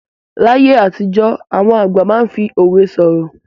Láyé àtijọ́, àwọn àgbà máa ń fi òwe sọ̀rọ̀.